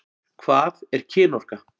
Hvað er kynorka?